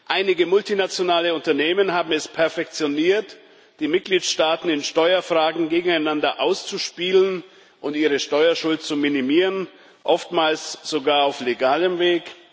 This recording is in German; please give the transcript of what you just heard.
Einige multinationale Unternehmen haben es perfektioniert, die Mitgliedstaaten in Steuerfragen gegeneinander auszuspielen und ihre Steuerschuld zu minimieren, oftmals sogar auf legalem Weg.